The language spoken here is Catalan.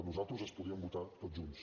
nosaltres es podrien votar tots junts